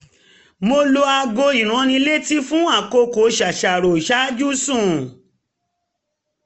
mo lo aago ìránnilétí fún àkókò ṣàṣàrò ṣáájú sùn